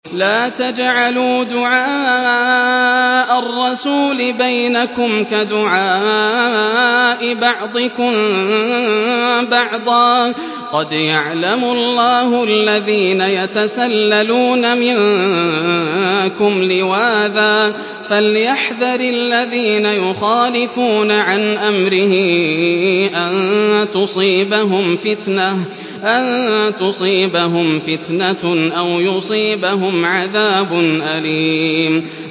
لَّا تَجْعَلُوا دُعَاءَ الرَّسُولِ بَيْنَكُمْ كَدُعَاءِ بَعْضِكُم بَعْضًا ۚ قَدْ يَعْلَمُ اللَّهُ الَّذِينَ يَتَسَلَّلُونَ مِنكُمْ لِوَاذًا ۚ فَلْيَحْذَرِ الَّذِينَ يُخَالِفُونَ عَنْ أَمْرِهِ أَن تُصِيبَهُمْ فِتْنَةٌ أَوْ يُصِيبَهُمْ عَذَابٌ أَلِيمٌ